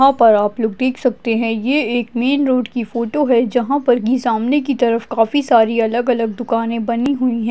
यहाँ पर आप लोग देख सकते है ये एक मेन रोड की फोटो है जहाँ पर की सामने की तरफ काफी सारी अलग अलग दुकाने बनी हुई है।